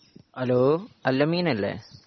hello അൽ അമീനല്ലേ